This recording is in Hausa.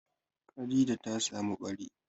Khadija ta samu ɓari.